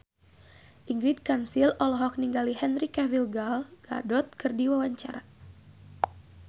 Ingrid Kansil olohok ningali Henry Cavill Gal Gadot keur diwawancara